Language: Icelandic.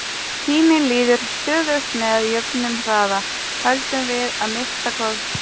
Tíminn líður stöðugt með jöfnum hraða, höldum við að minnsta kosti.